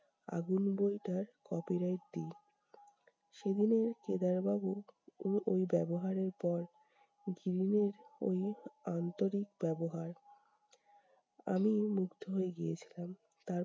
আগুন বইটার copyright দিই। সেগুলো কেদার বাবু ও ওই ব্যবহারের পর গিরীনের ওই আন্তরিক ব্যবহার, আমি মুগ্ধ হয়ে গিয়েছিলাম। তারপর